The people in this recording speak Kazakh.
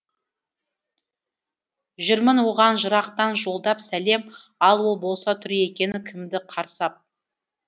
жүрмін оған жырақтан жолдап сәлем ал ол болса тұр екен кімді қарсы ап